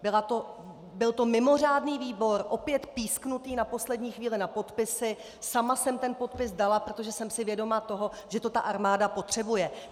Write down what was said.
Byl to mimořádný výbor, opět písknutý na poslední chvíli na podpisy, sama jsem ten podpis dala, protože jsem si vědoma toho, že to ta armáda potřebuje.